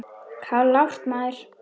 Klárt, maður!